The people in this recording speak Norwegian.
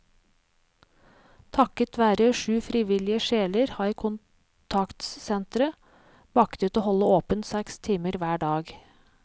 Takket være syv frivillige sjeler har kontaktsenteret maktet å holde åpent seks timer hver dag.